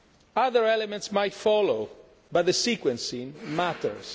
Other elements might follow, but the sequencing matters.